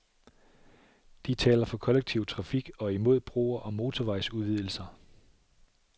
De taler for kollektiv trafik og imod broer og motorvejsudvidelser.